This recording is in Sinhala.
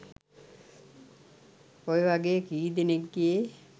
ඔය වගේ කී දෙනෙක්ගේ